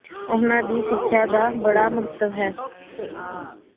ਓਨਾ ਦੀ ਸਿਖ੍ਯਾ ਦਾ ਬੜਾ ਮਹੱਤਵ ਹੈ